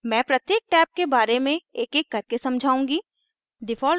मैं प्रत्येक टैब के बारे में एकएक करके समझाऊंगी